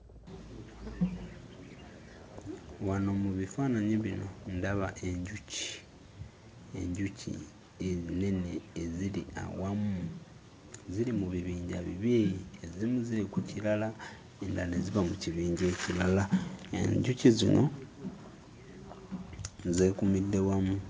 Wano mu bifaananyi bino ndaba enjuki enjuki ennene eziri awamu, ziri mu bibinja bibiri ezimu ziri ku kirala endala ne ziba mu kibinja ekirala enjuki zino zeekuumidde wamu.